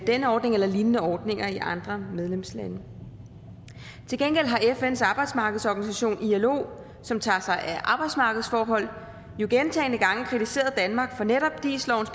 denne ordning eller lignende ordninger i andre medlemslande til gengæld har fns arbejdsmarkedsorganisation ilo som tager sig af arbejdsmarkedsforhold jo gentagne gange kritiseret danmark for netop dis lovens